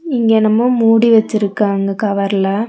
இங்கென்னமோ மூடி வெச்சிருக்காங்க கவர்ல .